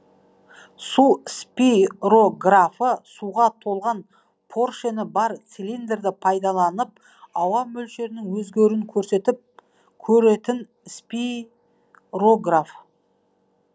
су спирографы суға толған пөршені бар цилиндрді пайдаланып ауа мөлшерінің өзгеру көретін спирограф